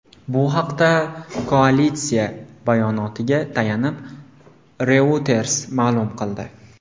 Bu haqda koalitsiya bayonotiga tayanib, Reuters ma’lum qildi.